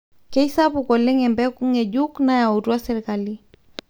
keisapuk oleng embeku ngejuk nayautua serikali